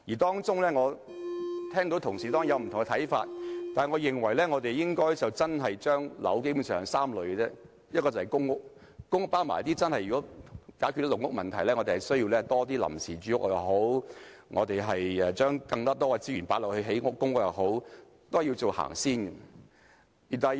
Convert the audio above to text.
雖然我聽到同事有不同看法，但我認為基本上應將樓宇分為3類，一類是公屋，如果要一併解決"籠屋"問題，我們須增加一些臨時住屋，將更多資源投放興建公屋，這是要最先行的。